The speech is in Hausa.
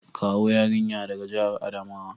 Kawo yarinya daga jihar Adamawa!